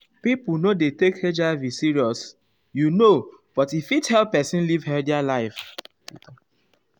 pipo no dey take hiv seriousyou know but e fit help pesin live healthy life.